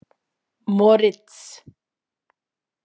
Moritz